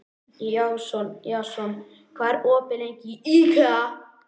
Jason, hvað er opið lengi í IKEA?